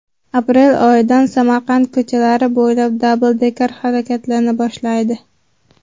Aprel oyidan Samarqand ko‘chalari bo‘ylab dabldekerlar harakatlana boshlaydi.